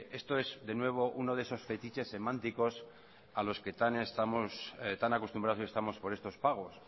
estos es de nuevo uno de esos fetiches semánticos a los que tan acostumbrados estamos por estos pagos